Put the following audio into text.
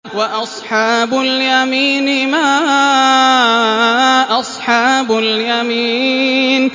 وَأَصْحَابُ الْيَمِينِ مَا أَصْحَابُ الْيَمِينِ